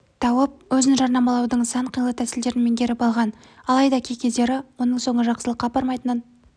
тауып өзін жарнамалаудың сан қилы тәсілдерін меңгеріп алған алайда кей кездері оның соңы жақсылыққа апармайтынын